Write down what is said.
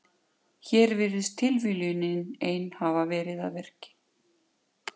Hér virðist tilviljunin ein hafa verið að verki.